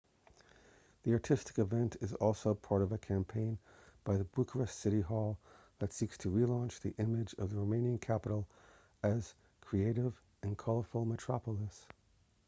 the artistic event is also part of a campaign by the bucharest city hall that seeks to relaunch the image of the romanian capital as a creative and colourful metropolis